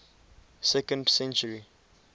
second century